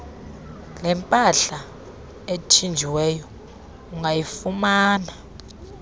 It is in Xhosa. lempahla ethinjiweyo ungayifumana